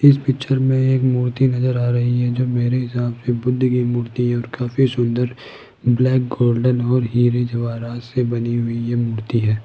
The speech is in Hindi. इस पिक्चर में एक मूर्ति नजर आ रही है जो मेरे हिसाब से बुद्ध की मूर्ति है और काफी सुन्दर ब्लैक गोल्डन और हीरे जवारात से बनी हुई ये मूर्ति है।